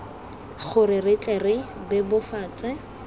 gore re tle re bebofatse